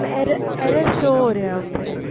ਇਹ error show ਹੋ ਰਿਹਾ ਉੱਥੇ